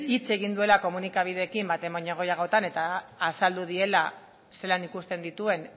hitz egin duela komunikabideekin behin baino gehiagotan eta azaldu diela zelan ikusten dituen